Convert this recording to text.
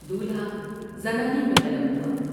دولہا زنانے میں طلب ہوا ۔